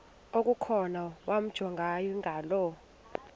okukhona wamjongay ngaloo